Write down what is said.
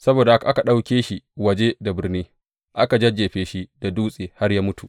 Saboda haka aka ɗauke shi waje da birnin, aka jajjefe shi da dutse har ya mutu.